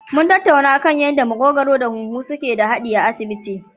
Mun tattauna kan yanda maƙogwaro da huhu suke da haɗi a asibiti jiya.